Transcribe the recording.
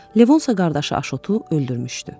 Levonsa qardaşı Aşotu öldürmüşdü.